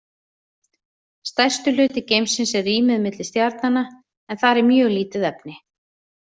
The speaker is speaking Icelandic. Stærstur hluti geimsins er rýmið á milli stjarnanna en þar er mjög lítið efni.